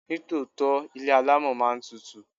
Ní tòótọ́, ilé alámọ̀ máa ń tutù.